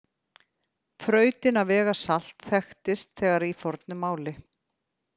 Þrautin að vega salt þekktist þegar í fornu máli.